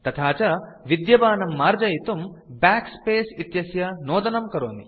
तथा च विद्यमानं मार्जयितुं बैक स्पेस् इत्यस्य नोदनं करोमि